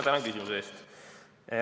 Tänan küsimuse eest!